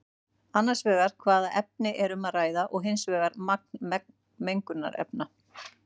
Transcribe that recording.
Annars vegar hvaða efni er um að ræða og hins vegar magni mengunarefna.